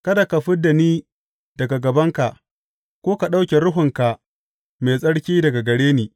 Kada ka fid da ni daga gabanka ko ka ɗauke Ruhunka Mai Tsarki daga gare ni.